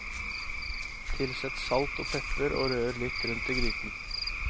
Tilsett salt og pepper, og rør litt rundt i gryten.